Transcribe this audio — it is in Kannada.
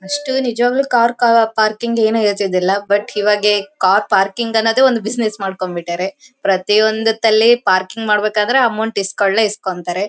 ಅಷ್ಟು ನಿಜವಾಗ್ಲು ಕಾ ಕಾರ್ ಪಾರ್ಕಿಂಗ್ ಏನೂ ಇರ್ತಿದ್ದಿಲ್ಲಾ ಬಟ್ ಇವಾಗ ಕಾರ್ ಪಾರ್ಕಿಂಗ್ ಅನ್ನೋದೇ ಒಂದು ಬಿಸ್ನೆಸ್ ಮಾಡ್ಕೊಂದುಬಿಟ್ಟಾರೇ ಪ್ರತಿಯೊಂದು ಹೊತ್ತಲ್ಲಿ ಪಾರ್ಕಿಂಗ್ ಮಾಡ್ಬೇಕಾದ್ರೆ ಅಮೌಂಟ್ ಇಸ್ಕೊಂಡೇ ಇಸ್ಕೊತಾರೆ.